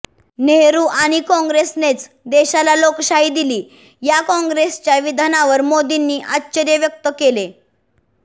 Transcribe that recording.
नेहरू आणि काँग्रेसनेच देशाला लोकशाही दिली या काँग्रेसच्या विधानावर मोदींनी आश्चर्य व्यक्त केले